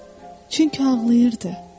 Çünki ağlayırdı.